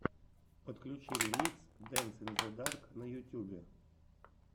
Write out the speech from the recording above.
подключи ремикс дэнс ин зе дарк на ютьюбе